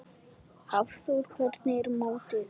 Hafþór: Hvernig er mótið?